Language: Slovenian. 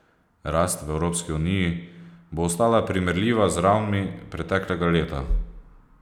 Rast v Evropski uniji bo ostala primerljiva z ravnmi preteklega leta.